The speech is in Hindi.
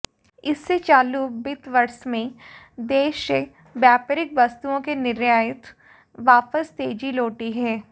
इससे चालू वित्त वर्ष में देश से व्यापारिक वस्तुओं के निर्यात वापस तेजी लौटी है